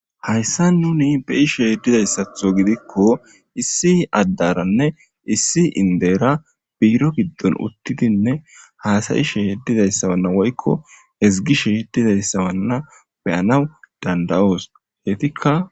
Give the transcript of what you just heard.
Ha issian nuni be'ishe diza issato giddiko issi adderanne issi indera utidine hasayishe woyko ezigishe diza issa beanawu danidayos